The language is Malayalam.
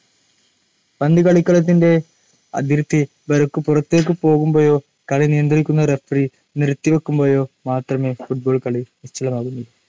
പന്തു കളിക്കളത്തിന്റെ അതിർത്തി വരയ്ക്കു പുറത്തേക്കു പോകുമ്പോഴോ കളി നിയന്ത്രിക്കുന്ന റഫറി നിർത്തി വയ്ക്കുമ്പോഴോ മാത്രമേ football കളി നിശ്ചലമാകുന്നുള്ളു.